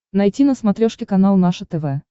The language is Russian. найти на смотрешке канал наше тв